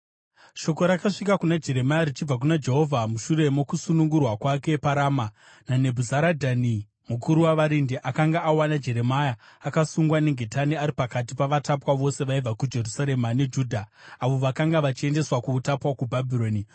Shoko rakasvika kuna Jeremia richibva kuna Jehovha mushure mokusunungurwa kwake paRama naNebhuzaradhani mukuru wavarindi. Akanga awana Jeremia akasungwa nengetani ari pakati pavatapwa vose vaibva kuJerusarema neJudha avo vakanga vachiendeswa kuutapwa kuBhabhironi.